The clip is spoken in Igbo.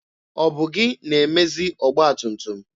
Ọ bụ gị na-emezi ọgba tum tum?